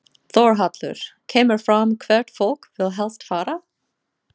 Þórhallur: Kemur fram hvert fólk vill helst fara?